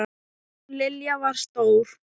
Hún Lilja var stór.